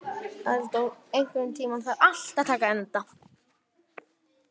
Eldon, einhvern tímann þarf allt að taka enda.